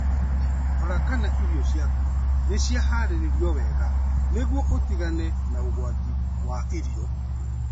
Rora kana irio ciaku nĩ ciahaarĩirio wega nĩguo ũtigane na ũgwati wa irio.